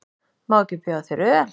Má ekki bjóða þér öl?